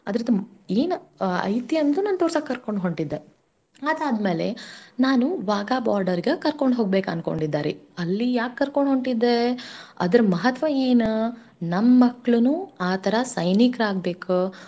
ಅದರ್ದ್ ಎನ್ ಐತಿ ಅಂತ ನಾನ್ ತೋರ್ಸಾಕ್ ಕರ್ಕೊಂಡ್ ಹೊಂಟಿದ್ದೆ. ಅದಾದ್ ಮೇಲೆ ನಾನು Wagah border ಗ ಕರ್ಕೊಂಡ್ ಹೋಗ್ಬೇಕ್ ಅಂದ್ಕೊಂಡಿದ್ದೆ ರ್ರಿ ಅಲ್ಲಿ ಯಾಕ್ ಕರ್ಕೊಂಡ್ ಹೊಂಟಿದ್ದೇ. ಅದರ್ ಮಹತ್ವ ಏನ. ನಮ್ ಮಕ್ಳನೂ ಆತರ ಸೈನಿಕ್ರಾಗ್ಬೇಕ.